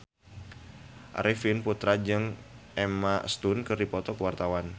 Arifin Putra jeung Emma Stone keur dipoto ku wartawan